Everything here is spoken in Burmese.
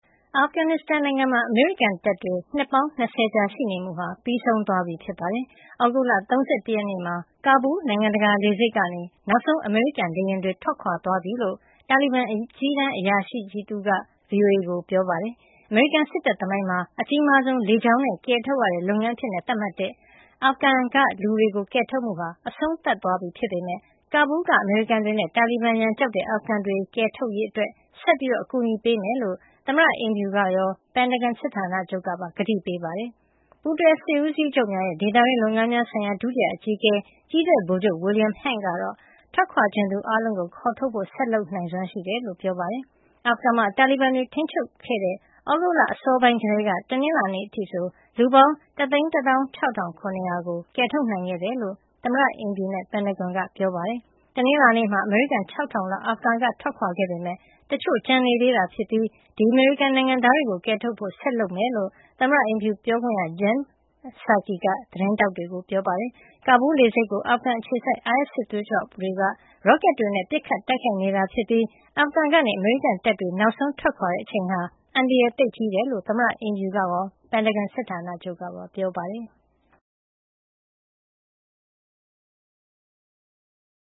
အာဖဂန်နစ်စတန်နိုင်ငံမှာ အမေရိကန်တပ်တွေ နှစ်ပေါင်း ၂၀ ကြာ ရှိနေမှုဟာ ပြီးဆုံးသွားပြီ ဖြစ်ပါတယ်။ သြဂုတ်လ ၃၁ ရက် မှာ ကာဘူးလ် နိုင်ငံတကာ လေဆိပ်ကနေ နောက်ဆုံး အမေရိကန်လေယာဉ်တွေ ထွက်ခွါသွားပြီလို့ တာလီဘန်အကြီးတန်း အရာရှိတဦးက VOA ကိုပြောပါတယ်။ အမေရိကန် စစ်တပ်သမိုင်းမှာ အကြီးမားဆုံး လေကြောင်းနဲ့ ကယ်ထုတ်တဲ့ လုပ်ငန်းအဖြစ် သတ်မှတ်ထားတဲ့ အာဖဂန်က လူတွေ ကယ်ထုတ်မှုဟာ အဆုံးသတ်သွားပြီဖြစ်ပေမယ့် ကာဘူးလ်က အမေရိကန်တွေနဲ့ တာလီဘန်ရန်ကြောက်တဲ့ အာဖဂန်တွေကယ်ထုတ်ရေး အတွက် ဆက်လက် အကူညီပေးမှာဖြစ်ကြောင်း သမ္မတအိမ်ဖြူကရော ပင်တာဂွန်စစ်ဌာနချုပ်ကပါ ကတိပေးပြောကြားခဲ့ကြပါတယ်။ ပူးတွဲစစ်ဦးစီးချုပ်များရဲ့ ဒေသတွင်းလုပ်ငန်းများဆိုင်ရာ ဒုတိယအကြီးအကဲ ကြည်းတပ်ဗိုလ်ချုပ် William Hank ကတော့ ထွက်ခွါချင်သူအားလုံးကို ခေါ်ထုတ်ဖို့ ဆက်လက်လုပ်ဆောင်နိုင်စွမ်း ရှိကြောင်း ပြောပါတယ်။ အာဖဂန်မှာ တာလီဘန်တွေ ထိန်းချုပ်ခဲ့တဲ့ သြဂုတ်လ အစောပိုင်းကတည်းကနေ တနင်္လာနေ့ အထိ လူပေါင်း ၁၁၆ ၇၀၀ ကို ကယ်ထုတ်နိုင်ခဲ့တယ်လို့ သမ္မတအိမ်ဖြူနဲ့ ပင်တာဂွန်က တနင်္လာနေ့ အစောပိုင်းမှာ ပြောပါတယ်။ တနင်္လာနေ့ မှာ အမေရိကန် ၆၀၀၀ လောက် အာဖဂန်ကနေ ထွက်ခွါခဲ့ပေမယ့် တချို့ကျန်နေသေးတာဖြစ်ပြီး ဒီအမေရိကန်နိုင်ငံသားတွေကို ကယ်ထုတ်ဖို့ ဆက်လက် လုပ်ဆောင်မှာ ဖြစ်ကြောင်း သမ္မတအိမ်ဖြူပြောခွင့်ရ Jen Psaki က သတင်းထောက်တွေကို ပြောပါတယ်။ ကာဘူးလ် လေဆိပ်ကို အာဖဂန်အခြေစိုက် အိုင်အက်စ် စစ်သွေးကြွအဖွဲ့ IS-Khorasan တွေက ရော့ကက်တွေနဲ့ ပစ်ခတ်တိုက်ခိုက်နေတာဖြစ်ပြီး အာဖဂန်ကနေ အမေရိကန်တပ်တွေ နောက်ဆုံးထွက်ခွါတဲ့ အချိန်ဟာ အန္တရာယ်သိပ်ကြီးတယ်လို့ သမ္မတအိမ်ဖြူကရော ပင်တာဂွန် စစ်ဌာနချုပ်ကပါ ပြောပါတယ်။